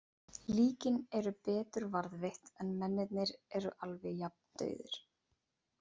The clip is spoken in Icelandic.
Líkin eru betur varðveitt en mennirnir eru alveg jafn dauðir.